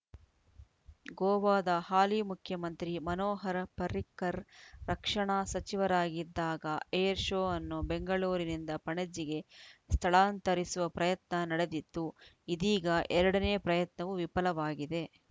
ಗೋವಾದ ಹಾಲಿ ಮುಖ್ಯಮಂತ್ರಿ ಮನೋಹರ ಪರ್ರಿಕರ್‌ ರಕ್ಷಣಾ ಸಚಿವರಾಗಿದ್ದಾಗ ಏರ್‌ ಶೋ ಅನ್ನು ಬೆಂಗಳೂರಿನಿಂದ ಪಣಜಿಗೆ ಸ್ಥಳಾಂತರಿಸುವ ಪ್ರಯತ್ನ ನಡೆದಿತ್ತು ಇದೀಗ ಎರಡನೇ ಪ್ರಯತ್ನವೂ ವಿಫಲವಾಗಿದೆ